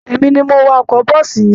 Èmi ni mo wa ọkọ̀ bọ́ọ̀sì yẹn